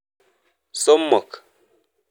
Somok.